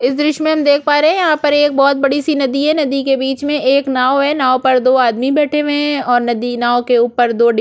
इस दृश्य में हम देख पा रहै है एक बहोत बडी सी नदी है नदी के बीच में एक नाव है नाव पर दो आदमी बैठे हुए हैऔर नदी नाव के उपर दो डिब्ब--